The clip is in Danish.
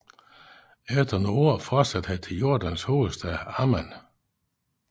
Efter nogle år fortsatte han til Jordans hovedstad Amman